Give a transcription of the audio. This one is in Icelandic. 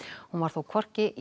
hún var þó hvorki í